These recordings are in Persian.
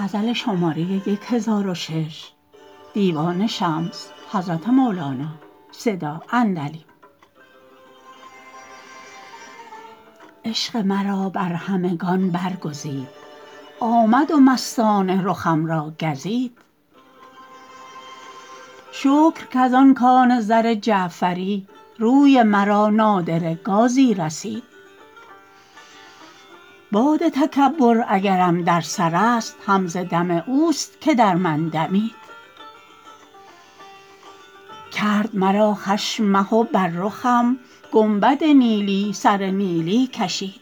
عشق مرا بر همگان برگزید آمد و مستانه رخم را گزید شکر کز آن کان زر جعفری روی مرا نادره گازی رسید باد تکبر اگرم در سرست هم ز دم اوست که در من دمید کرد مرا خشم مه و بر رخم گنبد نیلی سره نیلی کشید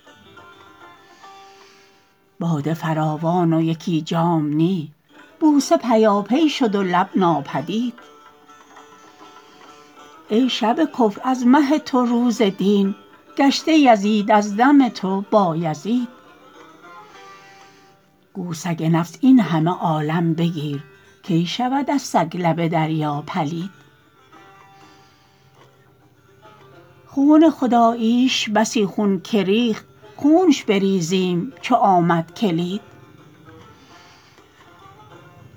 باده فراوان و یکی جام نی بوسه پیاپی شد و لب ناپدید ای شب کفر از مه تو روز دین گشته یزید از دم تو بایزید گو سگ نفس این همه عالم بگیر کی شود از سگ لب دریا پلید قفل خداییش بسی خون که ریخت خونش بریزیم چو آمد کلید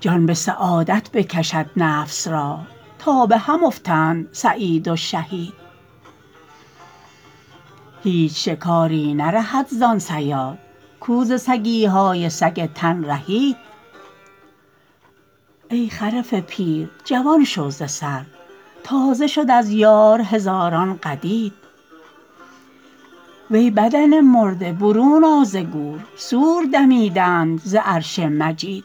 جان به سعادت بکشد نفس را تا به هم افتند سعید و شهید هیچ شکاری نرهد زان صیاد کو ز سگی های سگ تن رهید ای خرف پیر جوان شو ز سر تازه شد از یار هزاران قدید وی بدن مرده برون آ ز گور صور دمیدند ز عرش مجید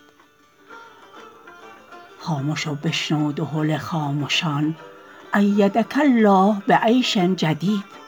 خامش و بشنو دهل خامشان ایدک الله به عیش جدید